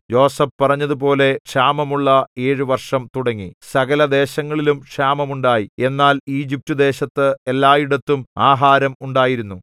യോസേഫ് പറഞ്ഞതുപോലെ ക്ഷാമമുള്ള ഏഴു വർഷം തുടങ്ങി സകലദേശങ്ങളിലും ക്ഷാമമുണ്ടായി എന്നാൽ ഈജിപ്റ്റുദേശത്ത് എല്ലായിടത്തും ആഹാരം ഉണ്ടായിരുന്നു